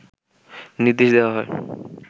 নির্দেশ দেয়া হয়